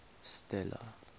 stella